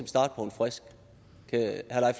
starte på en frisk kan herre